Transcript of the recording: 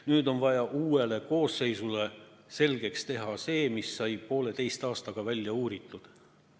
Nüüd on vaja uuele koosseisule selgeks teha see, mis sai pooleteise aastaga välja uuritud.